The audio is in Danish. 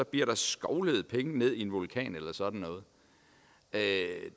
bliver skovlet penge ned i en vulkan eller sådan noget